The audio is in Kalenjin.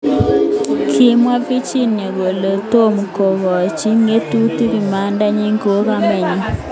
Kimwa Virginia kole tomkokochi ngatutik imanda nyin kou kamat nyin.